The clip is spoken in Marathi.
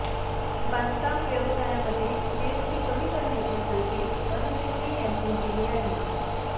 बांधकाम व्यवसायामध्ये जीएसटी कमी करण्याचे संकेत अरुण जेटली यांनी दिले आहे